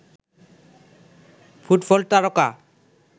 football তারকা